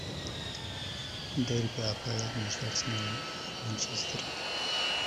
дерби апл между арсеналом и манчестером